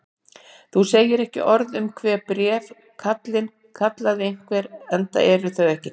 Þú segir ekki orð um þau bréf, kallinn, kallaði einhver,-enda eru þau ekki til!